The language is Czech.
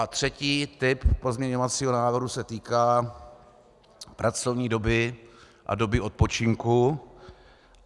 A třetí typ pozměňovacího návrhu se týká pracovní doby a doby odpočinku.